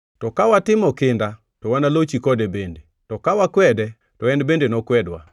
to ka watimo kinda, to wanalochi kode bende; to ka wakwede, to en bende nokwedwa;